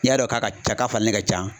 N'i y'a dɔ k'a ka ca k'a falenni ka can